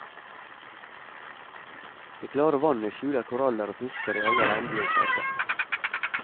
Det klare vannet skjuler koraller og fisker i alle regnbuens farger.